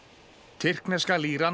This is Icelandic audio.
tyrkneska